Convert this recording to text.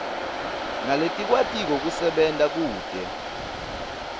naletikwatiko kusebenta kute